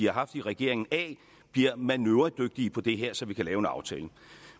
har haft i regeringen af bliver manøvredygtige på det her så vi kan lave en aftale